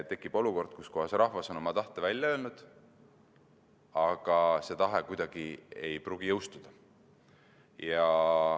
Tekib olukord, kus rahvas on oma tahte välja öelnud, aga see tahe ei pruugi kuidagi jõustuda.